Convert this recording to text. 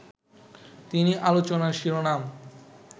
তিনি আলোচনার শিরোনাম